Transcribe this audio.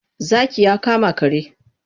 Zaki ya kama kare.